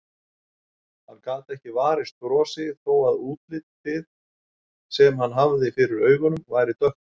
Hann gat ekki varist brosi þó að útlitið sem hann hafði fyrir augunum væri dökkt.